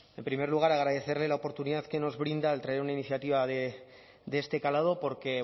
en primer lugar agradecerle la oportunidad que nos brinda al traer una iniciativa de este calado porque